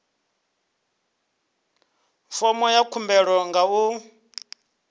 fomo ya khumbelo nga u